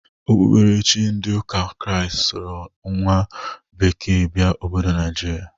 Okpukperechi ndị ụka kraist soro nwa bekee bịa obodo Naijiria.